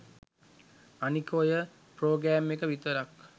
අනික ඔය ප්‍රොග්‍රෑම් එක විතරක්